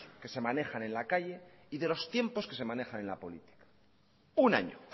que se manejan en la calle y de los tiempos que se manejan en la política una año